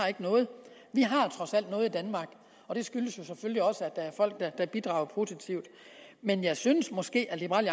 noget vi har trods alt noget i danmark og det skyldes jo selvfølgelig også at der er folk der bidrager produktivt men jeg synes måske at liberal